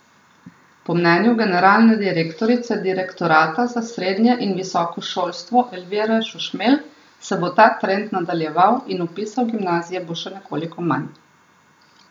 Po mnenju generalne direktorice direktorata za srednje in visoko šolstvo Elvire Šušmelj se bo ta trend nadaljeval in vpisa v gimnazije bo še nekoliko manj.